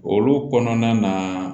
Olu kɔnɔna na